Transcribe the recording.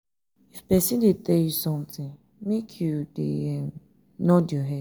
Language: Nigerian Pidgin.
if person dey tell you something make you dey um nod your head.